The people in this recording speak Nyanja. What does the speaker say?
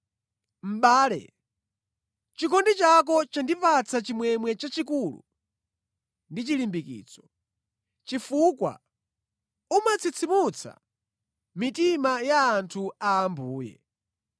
Mʼbale, chikondi chako chandipatsa chimwemwe chachikulu ndi chilimbikitso, chifukwa umatsitsimutsa mitima ya anthu a Ambuye.